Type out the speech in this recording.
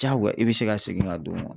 Diyagoya, i bɛ se ka segin ka don nkɔ.